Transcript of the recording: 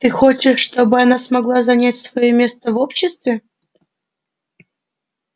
ты хочешь чтобы она смогла занять своё место в обществе